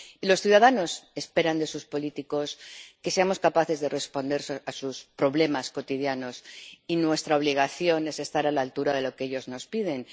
Los ciudadanos esperan de sus políticos que seamos capaces de responder a sus problemas cotidianos, y nuestra obligación es estar a la altura de lo que ellos nos piden.